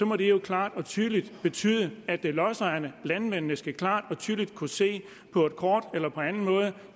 må det jo klart og tydeligt betyde at lodsejerne landmændene klart og tydeligt skal kunne se på et kort eller på anden måde